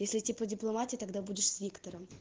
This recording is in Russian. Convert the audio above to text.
если типа дипломатии тогда будешь виктор